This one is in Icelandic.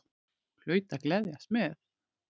Hún hlaut að gleðjast með.